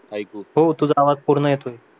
ऐकू हो तुझा आवाज पूर्ण येतोय